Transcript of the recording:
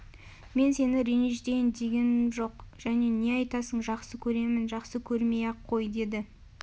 мен сені ренжітейін дегем жоқ және не айтасың жақсы көремін жақсы көрмей-ақ қой деді